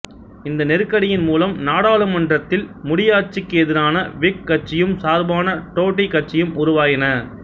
இந்த நெருக்கடியின் மூலம் நாடாளுமன்றத்தில் முடியாட்சிக்கு எதிரான விக் கட்சியும் சார்பான டோடி கட்சியும் உருவாயின